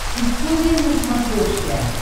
история на смотрешке